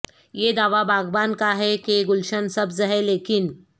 یہ دعوی باغباں کا ہے کہ گلشن سبز ہے لیکن ہ